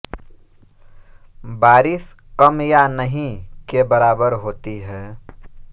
बारिश कम या नहीं के बराबर होती है